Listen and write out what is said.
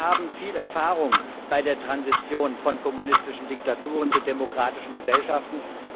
Wir haben viel Erfahrung bei der Transition von kommunistischen Diktaturen zu demokratischen Gesellschaften.